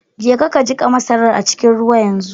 Jeka ka jiƙa masarar a cikin ruwa yanzu!